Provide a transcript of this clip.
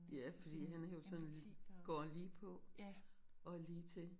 Ja fordi han er jo sådan går lige på og lige til